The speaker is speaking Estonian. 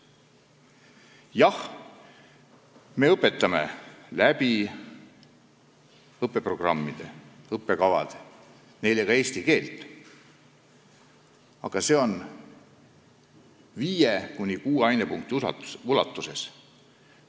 Jah, me õpetame õppeprogrammide ja õppekavade abil neile ka eesti keelt, aga 5–6 ainepunkti ulatuses.